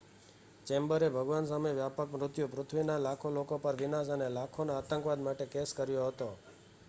ચેમ્બરે ભગવાન સામે વ્યાપક મૃત્યુ પૃથ્વીના લાખો લોકો પર વિનાશ અને લાખોનો આતંકવાદ માટે કેસ કર્યો હતો